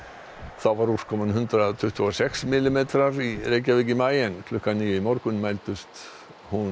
þá var úrkoman hundrað tuttugu og sex millimetrar í Reykjavík í maí klukkan níu í morgun mældist hún